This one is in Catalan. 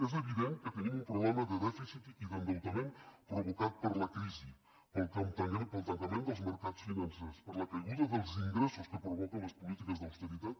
és evident que tenim un problema de dèficit i d’endeutament provocat per la crisi pel tancament dels mercats financers per la caiguda dels ingressos que provoquen les polítiques d’austeritat